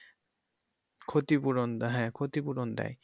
ক্ষতিপূরণ দেয়া হ্যা ক্ষরিপূরণ দেয়।